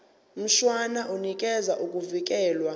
mshwana unikeza ukuvikelwa